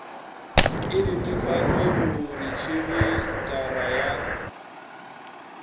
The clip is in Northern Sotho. e netefatšwe go retšisetara ya